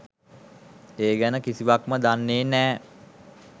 ඒ ගැන කිසිවක්ම දන්නෙ නෑ.